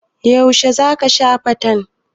Yaushe za ka sha fantan?